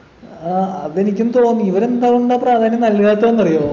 ആഹ് അതെനിക്കും തോന്നി ഇവരെന്ത കൊണ്ടാ പ്രധാന്യം നൽകാത്തത്ന്ന് അറിയോ